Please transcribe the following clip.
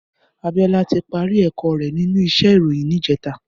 Abiola ti pàri èkò rè ninú íṣè iróyin nijètá